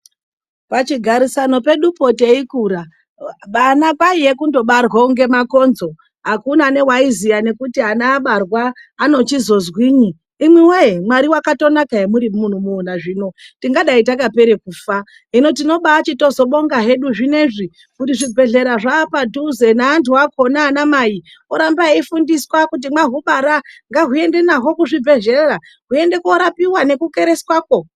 Pachigarisano pedu po teikura vana kwaiye kundobarwa kunge makonzo. Akuna newaiziva nekuti ana abarwa ano chizozwini. Imwi woye, Mwari wakatonaka hemunomuonazvino. Tingadai takapera kufa. Hino tinobaachizobonga hedu zvinezvi kuti zvibhedhlera zvapadhuze naantu akhona. Ana mai vakuramba vachifundiswa kuti, mahubara ngahuendwe naho kuzvibhedhlera hweiende korapiwa ne kukereswa ko.